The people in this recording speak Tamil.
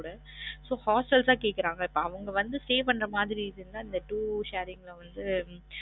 கூட so hostels ஆ கேக்குறாங்க இப்போ அவுங்க வந்து stay பண்ற மாறி இருந்தா இந்த two sharing அ வந்து